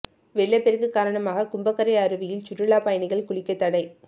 வெள்ளப்பெருக்கு காரணமாக கும்பக்கரை அருவியில் சுற்றுலா பயணிகள் குளிக்க தடை